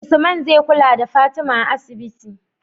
Usman zai kula da fatima a asibiti